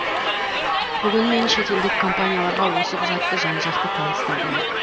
бүгін мен шетелдік компанияларға осы құжатты жан жақты таныстырдым